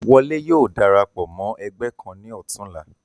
Wọlé yóò darapọ̀ mọ́ ẹgbẹ́ kan ní ọ̀tún la.